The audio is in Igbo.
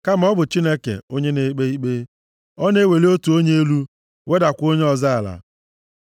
Kama ọ bụ Chineke, onye na-ekpe ikpe; ọ na-eweli otu onye elu, wedakwa onye ọzọ ala.